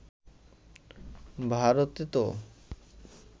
ভারতে তো